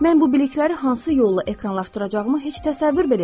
Mən bu bilikləri hansı yolla ekranlaşdıracağımı heç təsəvvür belə etmirdim.